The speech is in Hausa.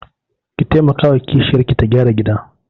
Ki taimakawa wa kishiyarki ta gyara gidan.